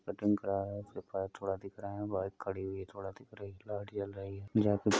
cutting करा रहे हैं थोड़ा दिख रहे हैं बाइक खड़ी हुई है थोड़ा दिख रही है --